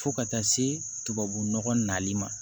Fo ka taa se tubabu nɔgɔ nali ma